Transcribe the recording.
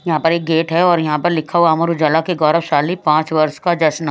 यहाँ पर एक गेट है और यहाँ पर लिखा हुआ अमर उजाला के गौरवशाली पाँच वर्ष का जश्न --